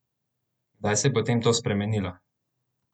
Kdaj se je potem to spremenilo?